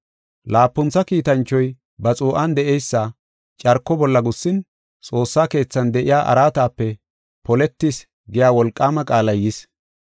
Laapuntha kiitanchoy ba xuu7an de7eysa carko bolla gussin, xoossa keethan de7iya araatape, “Poletis” giya wolqaama qaalay yis.